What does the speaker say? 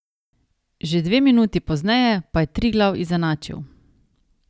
Že dve minuti pozneje pa je Triglav izenačil.